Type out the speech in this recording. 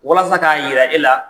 Walasa ka yira e la